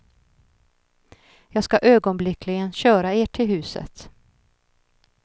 Jag ska ögonblickligen köra er till huset.